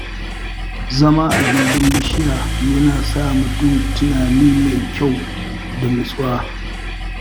Zama a gindin bishiya yana sa mutum tunani mai kyau da nutsuwa.